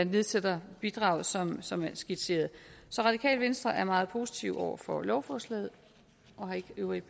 nedsætter bidraget som som skitseret så radikale venstre er meget positive over for lovforslaget og har ikke øvrige